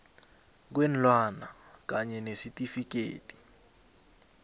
kweenlwana kanye nesitifikhethi